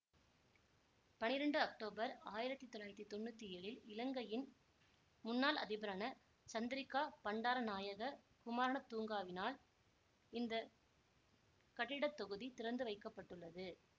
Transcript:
பன்னிரெண்டு அக்டோபர் ஆயிரத்தி தொள்ளாயிரத்தி தொன்னூத்தி ஏழில் இலங்கையின் முன்னாள் அதிபரான சந்திரிக்கா பண்டாரநாயக குமாரணத்தூங்கவினால் இந்த கட்டிட தொகுதி திறந்துவைக்கபட்டுள்ளது